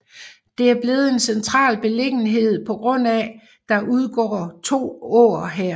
Det er blevet en central beliggenhed pga at der udgår to åer her